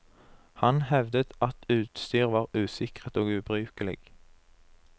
Han hevdet at utstyr var usikret og ubrukelig.